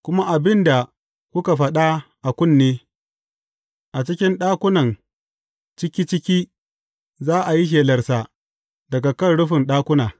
Kuma abin da kuka faɗa a kunne, a cikin ɗakunan ciki ciki, za a yi shelarsa daga kan rufin ɗakuna.